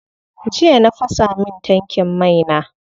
Jiya na fasa min tankin mai na.